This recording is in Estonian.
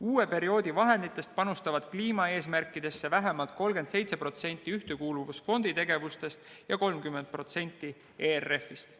Uue perioodi vahenditest panustatakse kliimaeesmärkidesse vähemalt 37% Ühtekuuluvusfondi tegevustest ja 30% ERF-ist.